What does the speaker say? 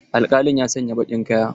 Alkalin ya sanya baƙin kaya.